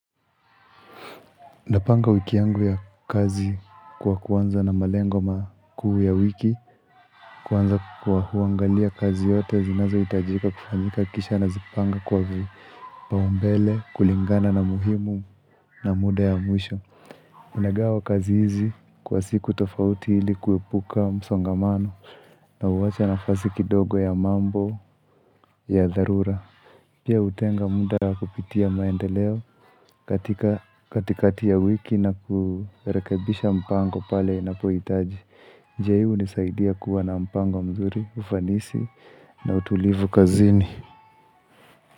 Napanga wiki yangu ya kazi kwa kuanza na malengo makuu ya wiki. Kwanza kwa kuangalia kazi yote zinazohitajika kufanyika kisha nazipanga kwa vipaumbele kulingana na muhimu na muda ya mwisho. Nagawa kazi hizi kwa siku tofauti ili kuepuka msongamano na huwacha nafasi kidogo ya mambo ya dharura. Pia hutenga muda wa kupitia maendeleo katika katikati ya wiki na kurekebisha mpango pale ninapohitaji. Njia hii hunisaidia kuwa na mpango mzuri, ufanisi na utulivu kazini.